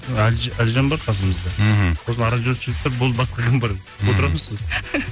әлжан бар қасымызда мхм сосын аранжировщиктер болды басқа кім бар мхм отырамыз сосын